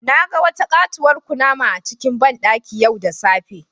Na ga wata katuwar kunama a cikin bandaki yau da safe.